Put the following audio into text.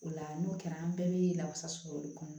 O la n'o kɛra an bɛɛ bɛ lawasa sɔrɔ olu kɔnɔ